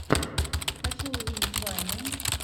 хочу увидеть вайны